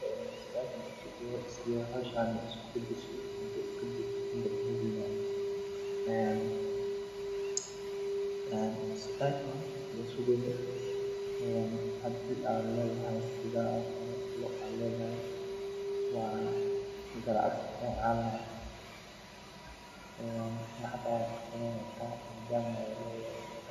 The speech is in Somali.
Waxaa jira cuntooyin kala duwan sida hilibka, kalluunka, khudaarta, miraha, caanaha iyo dalagyada sida bariiska iyo galleyda oo dhammaantood door muhiim ah ka ciyaara quudinta jirka. Cuntada tayadeedu waxay saameyn ku leedahay caafimaadka qofka, iyadoo cuntada wanaagsan ay yarayso halista cudurrada halka cuntada aan dheellitiraneyn ay keeni karto dhibaatooyin caafimaad